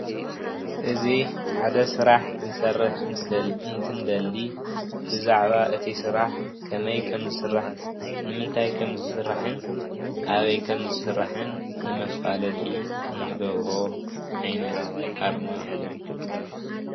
እዚ ሓደ ስራሕ ክንሰርሕ እንትንደሊ ብዛዕባ እቲ ስራሕ ከመይ ከምዝስራሕን ንምንታይን ከም ዝስራሕን ኣበይ ከም ዝስራሕን ንመፋለጢ እንገብሮ ዓይነት ኣርማ እዩ።